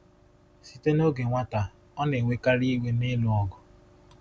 Site n’oge nwata, ọ na-enwekarị iwe na ịlụ ọgụ.